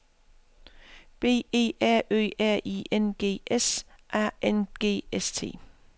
B E R Ø R I N G S A N G S T